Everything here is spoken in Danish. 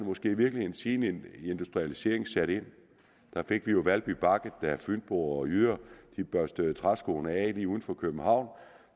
måske i virkeligheden siden industrialiseringen satte ind da fik vi jo valby bakke da fynboer og jyder børstede træskoene af lige uden for københavn